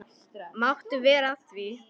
Máttu vera að því?